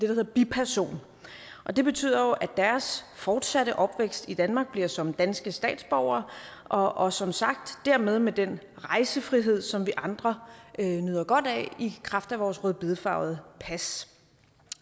hedder en biperson og det betyder jo at deres fortsatte opvækst i danmark bliver som danske statsborgere og og som sagt dermed med den rejsefrihed som vi andre nyder godt af i kraft af vores rødbedefarvede pas